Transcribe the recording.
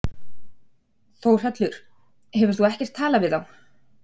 Þórhallur: Hefur þú ekkert talað við þá?